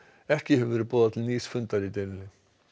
ekki hefur verið boðað til nýs fundar í deilunni